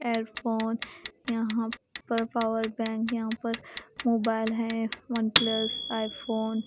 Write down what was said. earphone यहाँ पर power bank यहाँ पर मोबाइल है वनप्लस आईफ़ोन --